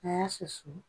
A y'a susu